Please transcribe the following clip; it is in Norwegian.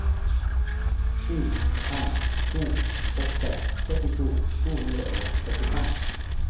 sju fem to åtte syttito to hundre og førtifem